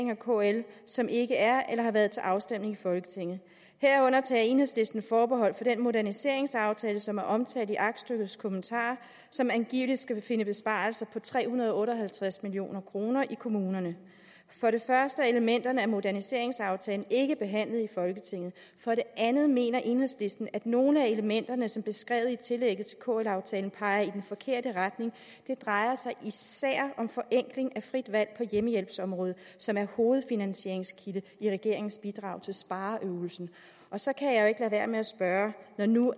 og kl som ikke er eller har været til afstemning i folketinget herunder tager enhedslisten forbehold for den moderniseringsaftale som er omtalt i aktstykkets kommentarer side som angiveligt skal finde besparelser på tre hundrede og otte og halvtreds million kroner i kommunerne for det første er elementerne af moderniseringsaftalen ikke behandlet i folketinget for det andet mener enhedslisten at nogle af elementerne som beskrevet i tillægget til kl aftalen peger i den forkerte regning det drejer sig især om forenkling af frit valg på hjemmehjælpsområdet som er hovedfinansieringskilde i regeringens bidrag til spareøvelsen så kan jeg jo ikke lade være med at spørge når nu